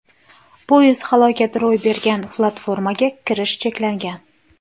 Poyezd halokati ro‘y bergan platformaga kirish cheklangan.